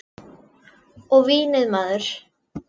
Og vínið maður!